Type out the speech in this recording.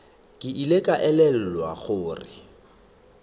ke ile ka elelwa gore